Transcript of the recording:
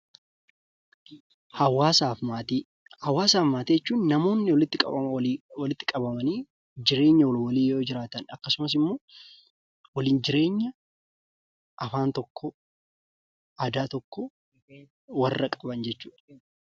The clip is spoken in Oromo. Hawaasaa fi maatii Hawaasaa fi maatiin walitti qabamanii jireenya walii akkasumas waliin jireenya afaan tokkoo, aadaa tokkoo warra qaban jechuudha.